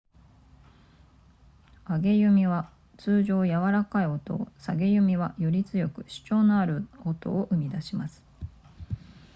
上げ弓は通常やわらかい音を下げ弓はより強く主張のある音を生み出します